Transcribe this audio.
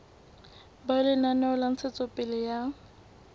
ba lenaneo la ntshetsopele ya